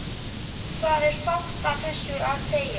Það er fátt við þessu að segja.